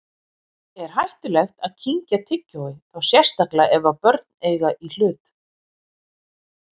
Er hættulegt að kyngja tyggjói, þá sérstaklega ef börn eiga í hlut?